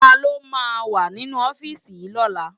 Táló má wá ninú òfisi yi lòlá?